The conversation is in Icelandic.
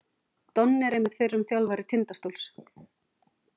Donni er einmitt fyrrum þjálfari Tindastóls.